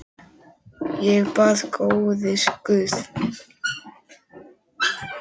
Ég bað: Góði Guð.